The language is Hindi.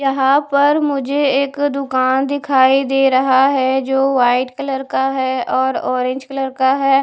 यहाँ पर मुझे एक दूकान दिखाई दे रहा है जो वाईट कलर का है और ऑरेंज कलर का है।